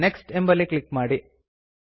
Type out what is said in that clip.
next ಎಂಬಲ್ಲಿ click ಮಾಡಿ